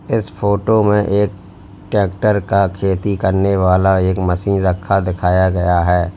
इस फोटो में एक ट्रैक्टर का खेती करने वाला एक मशीन रखा दिखाया गया है।